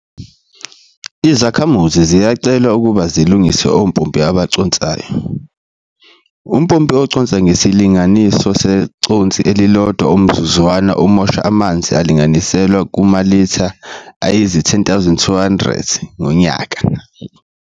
Izakhamuzi ziyacelwa ukuba zilungise ompompi abaconsayo. Umpompi oconsa ngesilinganiso seconsi elilodwa umzuzwana umosha amanzi alinganiselwa kumalitha ayizi-10 220 ngonyaka.